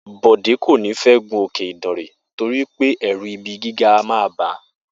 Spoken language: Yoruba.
Bò̩dé kò ní fé̩ gun Òkè Ìdànrè torí pé è̩rù̩ ibi gíga a máa bàá